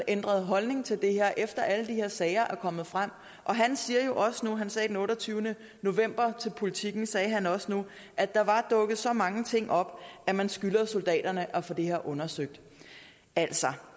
ændret holdning til det her efter alle de her sager er kommet frem han sagde den otteogtyvende november til politiken at der var dukket så mange ting op at man skylder soldaterne at få det her undersøgt altså